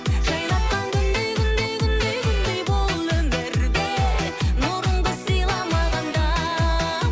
жайнатқан күндей күндей күндей күндей бұл өмірде нұрыңды сыйла маған да